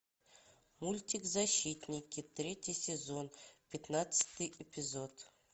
мультик защитники третий сезон пятнадцатый эпизод